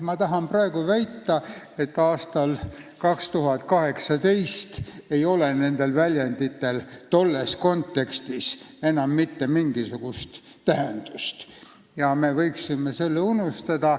Ma tahan praegu väita, et aastal 2018 ei ole nendel väljenditel enam mitte mingisugust tähendust ja me võiksime need unustada.